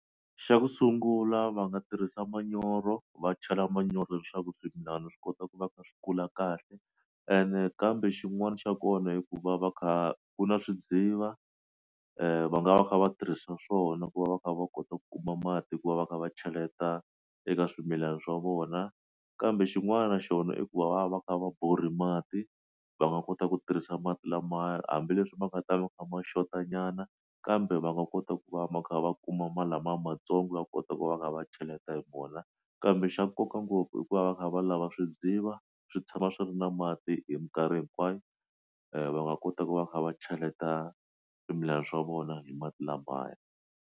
Xa ku sungula va nga tirhisa manyoro va chela manyoro leswaku swimilana swi kota ku va kha swi kula kahle ene kambe xin'wana xa kona hikuva va kha ku na swidziva va nga va kha va tirhisa swona ku va va kha va kota ku kuma mati ku va va kha va cheleta eka swimilana swa vona kambe xin'wana na xona i ku va va va kha va borha mati va nga kota ku tirhisa mati lamaya hambileswi va nga ta va kha ma xota nyana kambe va nga kota ku va va kha va kuma lamaya lamatsongo va kota ku va kha va cheleta hi vona kambe xa nkoka ngopfu hikuva va kha va lava swidziva swi tshama swi ri na mati hi minkarhi hinkwayo va nga kota ku va kha va cheleta swimilana swa vona hi mati lamaya.